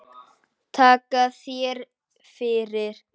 Takka þér fyrir